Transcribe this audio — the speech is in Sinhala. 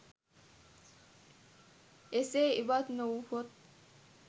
එසේ ඉවත් නොවුවහොත්